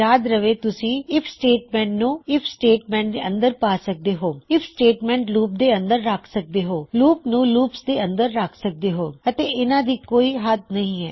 ਯਾਦ ਰਹੇ ਤੁਸੀਂ ਆਈਐਫ ਸਟੇਟਮੈਂਟ ਨੂੰ ਆਈਐਫ ਸਟੇਟਮੈਂਟ ਦੇ ਅੰਦਰ ਪਾ ਸਕਦੇ ਹੋ ਆਈਐਫ ਸਟੇਟਮੈਂਟ ਲੂਪ ਦੇ ਅੰਦਰ ਰੱਖ ਸਕਦੇ ਹੋ ਲੂਪ ਨੂੰ ਲੂਪਸ ਦੇ ਅੰਦਰ ਰਖ ਸਕਦੇ ਹੋ ਅਤੇ ਇਨ੍ਹਾ ਦੀ ਕੋਈ ਹੱਦ ਨਹੀ ਹੈ